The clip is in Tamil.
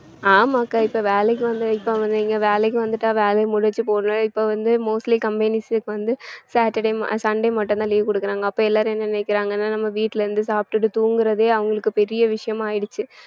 ஆமாக்கா இப்ப வேலைக்கு வந்து இப்ப வந்து இங்க வேலைக்கு வந்துட்டா வேலையை இப்ப வந்து mostly companies க்கு வந்து saturday ம~ sunday மட்டும்தான் leave கொடுக்குறாங்க அப்ப எல்லாரும் என்ன நினைக்கிறாங்க நம்ம வீட்ல இருந்து சாப்பிட்டுட்டு தூங்குறதே அவங்களுக்கு பெரிய விஷயமா ஆயிடுச்சு